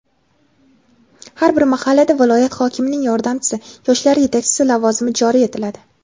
har bir mahallada viloyat hokimining yordamchisi — yoshlar yetakchisi lavozimi joriy etiladi.